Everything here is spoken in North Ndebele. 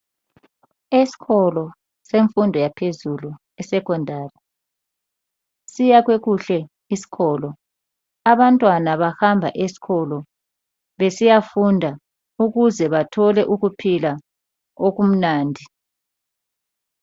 Eskolo semfundo yaphezulu isecondary. Siyakhwe kuhle iskolo. Abantwana bahamba eskolo besiyafunda ukuze bathole ukuphila okumnandi .